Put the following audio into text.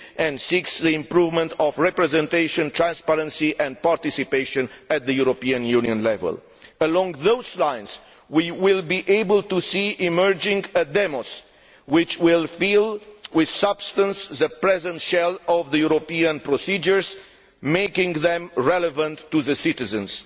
and, six, the improvement of representation, transparency and participation at European Union level. Along those lines, we will be able to see emerging a demos which will fill with substance the present shell of the European procedures, making them relevant to the citizens.